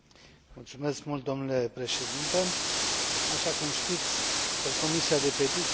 Așa cum știți, Comisia pentru petiții nu ajunge foarte des pe ordinea de zi a plenarei.